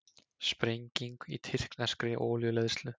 Sprenging í tyrkneskri olíuleiðslu